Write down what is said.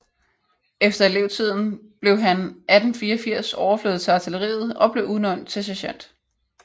Efter elevtiden blev han 1884 overflyttet til artilleriet og blev udnævnt til sergent